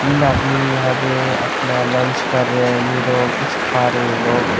तीन आदमी यहां पे अपना लंच कर रहे हैं नहीं तो कुछ खा रहे हैं लोग।